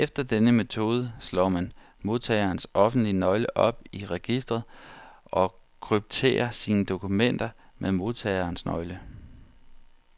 Efter denne metode slår man modtagerens offentlige nøgle op i registret, og krypterer sine dokumenter med modtagerens nøgle.